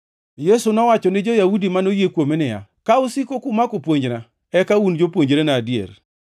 Yesu nowacho ni jo-Yahudi manoyie kuome niya, “Ka usiko kumako puonjna, eka un jopuonjrena adier.